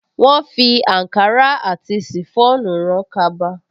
Wọ́́n fi àǹkárá àti ṣìfọ́ònù rán kaba